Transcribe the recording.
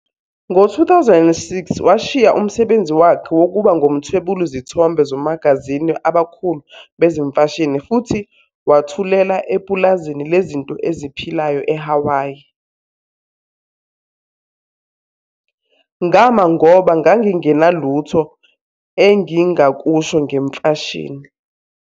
Ngo-2006, washiya umsebenzi wakhe wokuba ngumthwebuli zithombe zomagazini abakhulu bezemfashini futhi wathuthela epulazini lezinto eziphilayo eHawaii- "Ngama ngoba ngangingenalutho engingakusho ngemfashini.